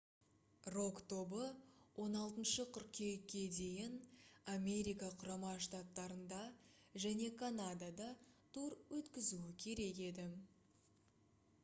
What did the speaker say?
рок тобы 16 қыркүйекке дейін америка құрама штаттарында және канадада тур өткізуі керек еді